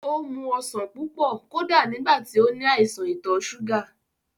Ó mu ọsàn púpọ̀ kódà nígbà tí ó ní àìsàn ìtọ̀ súgà